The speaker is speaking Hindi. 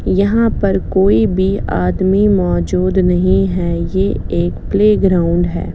यहाँ पर कोई भी मोजूद नही है ये एक प्ले ग्राउंड है।